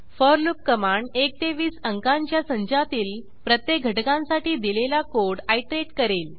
four loop command 1 ते 20अंकांच्या संचातील प्रत्येक घटकांसाठी दिलेला कोड आयटरेट करेल